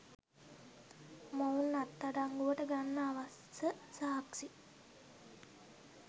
මොවුන් අත්අඩංගුවට ගන්න අවශ්‍ය සාක්ෂි